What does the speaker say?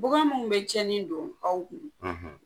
Bagan mun be cɛnnin don aw kun